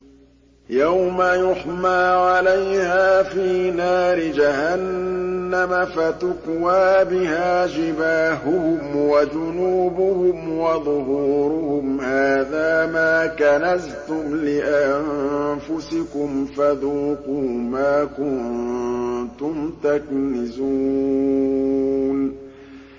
يَوْمَ يُحْمَىٰ عَلَيْهَا فِي نَارِ جَهَنَّمَ فَتُكْوَىٰ بِهَا جِبَاهُهُمْ وَجُنُوبُهُمْ وَظُهُورُهُمْ ۖ هَٰذَا مَا كَنَزْتُمْ لِأَنفُسِكُمْ فَذُوقُوا مَا كُنتُمْ تَكْنِزُونَ